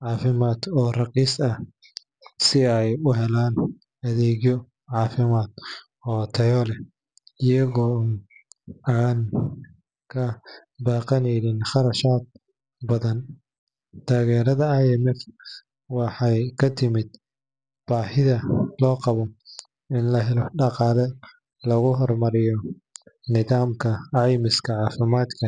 caafimaad oo raqiis ah, si ay u helaan adeegyo caafimaad oo tayo leh iyaga oo aan ka baqayn kharashaad badan. Taageerada IMF waxay ka timid baahida loo qabo in la helo dhaqaale lagu horumariyo nidaamka caymiska caafimaadka